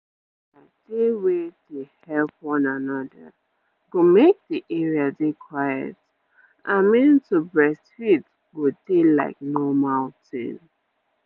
to help one another go make d area dey quiet i mean to breastfeed go dey like normal tin